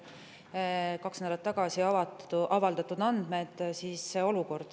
Need on kaks nädalat tagasi avaldatud andmed.